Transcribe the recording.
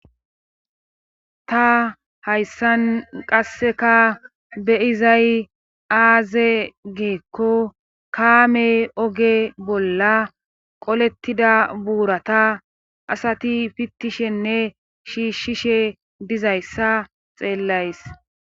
Ta hayssan qasseka beyizay aaze geekko kaame oge bolla qolettida buurata asati fittishenne shiishshishe dizayssa xeellays.